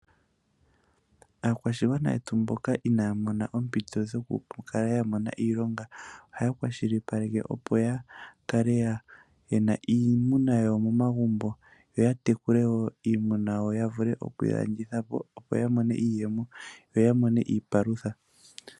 Aakwashigwana yetu mboka inaya mona ompito yoku kala ya mona iilonga ohaya kwashilipaleka opo yakale yena iimuna yawo momagumbo ,yo yatekule woo iimuna yo yavule oku yilandithapo opo yamone iiyemo yo yamone iipalutha.